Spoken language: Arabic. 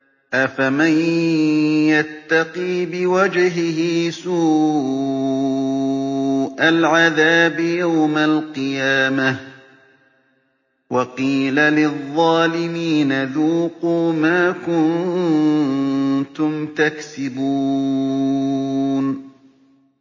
أَفَمَن يَتَّقِي بِوَجْهِهِ سُوءَ الْعَذَابِ يَوْمَ الْقِيَامَةِ ۚ وَقِيلَ لِلظَّالِمِينَ ذُوقُوا مَا كُنتُمْ تَكْسِبُونَ